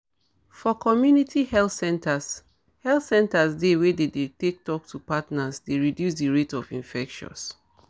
for community health centres health centres di way dem dey take talk to partners dey reduces di rate of infections